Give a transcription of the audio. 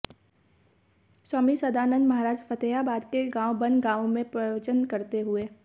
स्वामी संदानंद महाराज फतेहाबाद के गांव बनगांव में प्रवचन करते हुए